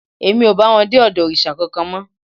Èmi ò bá wọn dé ọ̀dọ̀ òrìṣà kankan mọ́